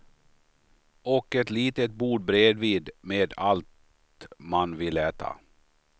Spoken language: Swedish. Och ett litet bord bredvid med allt man vill äta.